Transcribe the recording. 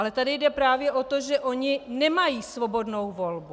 Ale tady jde právě o to, že oni nemají svobodnou volbu.